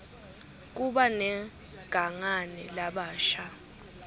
kuba negangani labasha